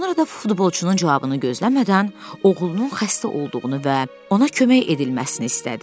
Sonra da futbolçunun cavabını gözləmədən oğlunun xəstə olduğunu və ona kömək edilməsini istədi.